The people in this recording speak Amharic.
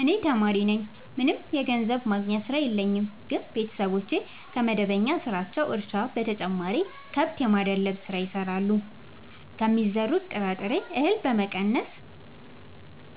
እኔ ተማሪነኝ ምንም የገንዘብ ማስገኛ ስራ የለኝም ግን ቤተሰቦቼ ከመደበኛ ስራቸው እርሻ በተጨማሪ ከብት የማድለብ ስራ ይሰራሉ ከሚዘሩት ጥራጥሬ እሀል በመቀነስ